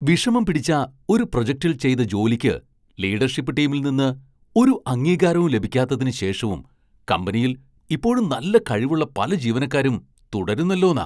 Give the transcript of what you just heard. വിഷമം പിടിച്ച ഒരു പ്രൊജക്റ്റിൽ ചെയ്ത ജോലിക്ക് ലീഡർഷിപ്പ് ടീമിൽ നിന്ന് ഒരു അംഗീകാരവും ലഭിക്കാത്തതിന് ശേഷവും കമ്പനിയിൽ ഇപ്പോഴും നല്ല കഴിവുള്ള പല ജീവനക്കാരും തുടരുന്നല്ലോന്നാ.